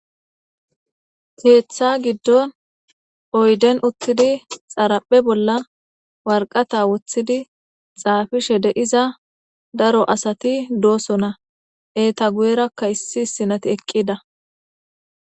Keeththa giddon oyden uttidi xaraphe bolla warqata woththidi xaafishe de'iza daro asati dooso na eeta guyerakka issi sinati eqqida